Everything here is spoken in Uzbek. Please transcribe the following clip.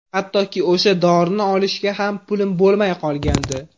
Hattoki o‘sha dorini olishga ham pulim bo‘lmay qolgandi.